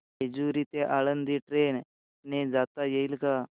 जेजूरी ते आळंदी ट्रेन ने जाता येईल का